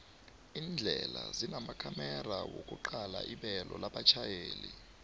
indlela zinamakhomera wokuqala ibelo labatjhayeli